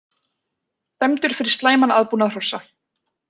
Dæmdur fyrir slæman aðbúnað hrossa